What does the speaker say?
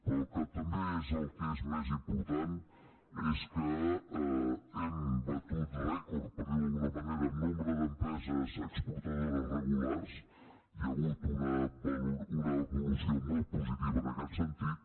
però el que també és el que és més important és que hem batut rècord per dir ho d’alguna manera en nombre d’empreses exportadores regulars hi ha hagut una evolució molt positiva en aquest sentit